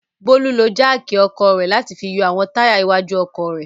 Bólú ló jáákì ọkọ̀ rẹ̀ láti fi yọ àwọn táyà iwájú ọkọ̀ rẹ̀.